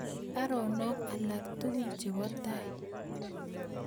Baronog alaktugul chebo tai